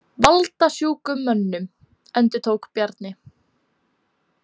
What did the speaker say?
Valdasjúkum mönnum, endurtók Bjarni.